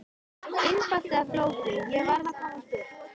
Einfalt eða flókið, ég varð að komast burt.